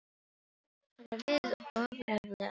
Það var við ofurefli að etja.